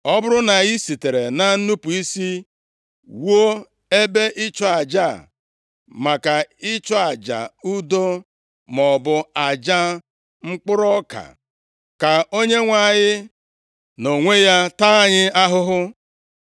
Ọ bụrụ na anyị sitere na nnupu isi wuo ebe ịchụ aja a maka ịchụ aja udo maọbụ aja mkpụrụ ọka, ka Onyenwe anyị nʼonwe ya taa anyị ahụhụ.